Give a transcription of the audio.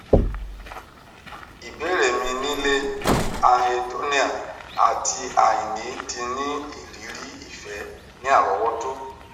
ibeere mi ni le anhedonia ati aini ti ni iriri ifẹ ni arowoto